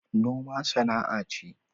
noma sana’a ce